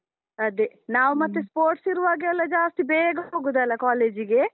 ಅದೇ, ನಾವು ಮತ್ತೆ sports ಇರುವಾಗೆಲ್ಲ ಜಾಸ್ತಿ ಬೇಗ ಹೋಗುದಲ್ಲ, college ಗೆ?